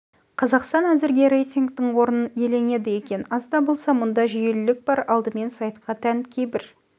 қазақстан әзірге рейтингтің орнын иеленеді екен аз да болса мұнда жүйелілік бар алдымен сайтқа тән кейбір